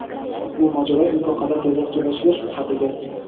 biroq u mojaro imkon qadar tezroq tugashiga shubha qildi.